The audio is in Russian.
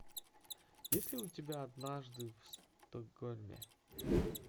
есть ли у тебя однажды в стокгольме